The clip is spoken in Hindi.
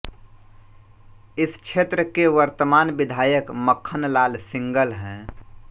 इस क्षेत्र के वर्तमान विधायक मक्खन लाल सिंगल हैं